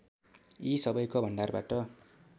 यी सबैको भण्डारबाट